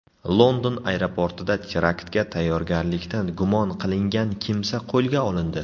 London aeroportida teraktga tayyorgarlikda gumon qilingan kimsa qo‘lga olindi.